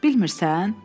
Bilmirsən?